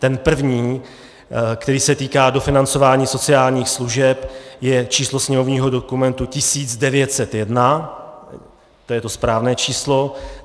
Ten první, který se týká dofinancování sociálních služeb, je číslo sněmovního dokumentu 1901, to je to správné číslo.